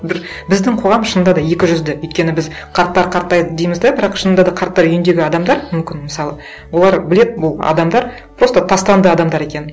бір біздің қоғам шынында да екі жүзді өйткені біз қарттар қартаяды дейміз де бірақ шынында да қарттар үйіндегі адамдар мүмкін мысалы олар біледі бұл адамдар просто тастанды адамдар екенін